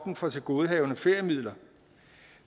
for tilgodehavende feriemidler